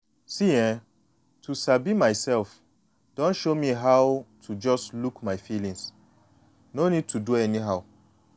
see[um]to dey sabi myself don show me how to just look my feeling no need to do anyhow.